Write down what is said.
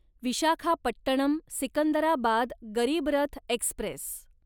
Visakhapatnam Secunderabad Garib Rath Express